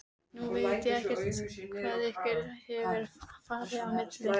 Nú veit ég ekkert hvað ykkur hefur farið á milli?